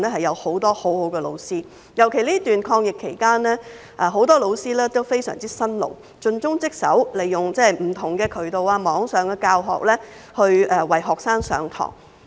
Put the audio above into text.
尤其在這段抗疫期間，很多教師都非常辛勞，盡忠職守，利用不同的渠道來為學生上課。